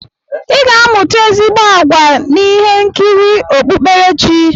I ga-amụta ezigbo àgwà na ihe nkiri okpukperechi.